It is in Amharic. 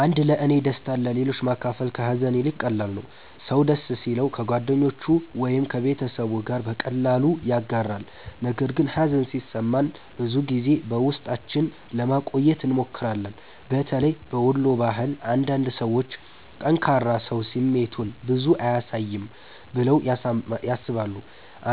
1ለእኔ ደስታን ለሌሎች ማካፈል ከሀዘን ይልቅ ቀላል ነው። ሰው ደስ ሲለው ከጓደኞቹ ወይም ከቤተሰቡ ጋር በቀላሉ ያጋራል፣ ነገር ግን ሀዘን ሲሰማን ብዙ ጊዜ በውስጣችን ለማቆየት እንሞክራለን። በተለይ በወሎ ባህል አንዳንድ ሰዎች “ጠንካራ ሰው ስሜቱን ብዙ አያሳይም” ብለው ያስባሉ።